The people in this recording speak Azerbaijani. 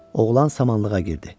Oğlan samanlığa girdi.